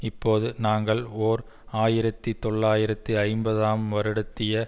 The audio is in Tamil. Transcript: இப்போது நாங்கள் ஓர் ஆயிரத்தி தொள்ளாயிரத்து ஐம்பதாம் வருடத்திய